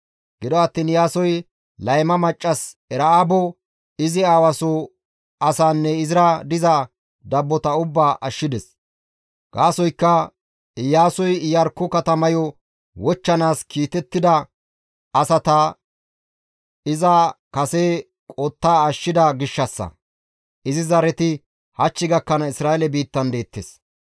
Qasse Iyaasoy layma maccas Era7aabo izi aawa soo asaanne izira diza dabbota ubbaa ashshides; gaasoykka Iyaasoy Iyarkko katamayo wochchanaas kiitettida asata iza kase qottada ashshida gishshassa; izi zareti hach gakkanaas Isra7eele biittan deettes.